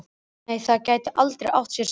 Nei, það gæti aldrei átt sér stað.